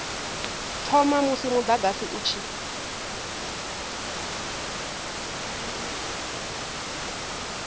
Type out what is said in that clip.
thoma musi mudagasi u tshi